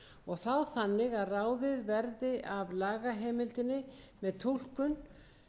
og þá þannig að ráðið verði af lagaheimildinni með túlkun